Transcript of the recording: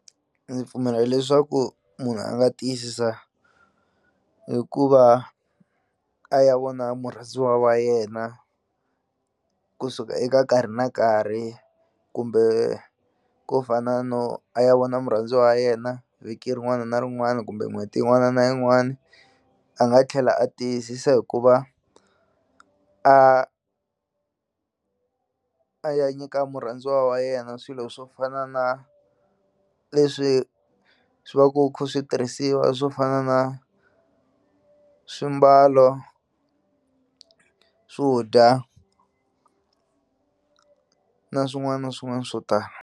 Ndzi pfumela leswaku munhu a nga tiyisisa hikuva a ya vona murhandziwa wa yena kusuka eka nkarhi na nkarhi kumbe ko fana no a ya vona murhandziwa wa yena vhiki rin'wana na rin'wana kumbe n'hweti yin'wana na yin'wani a nga tlhela a tiyisisa hikuva a a ya nyika murhandziwa wa yena swilo swo fana na leswi swi va ku khu swi tirhisiwa swo fana na swimbalo swo dya na swin'wana na swin'wana swo tala.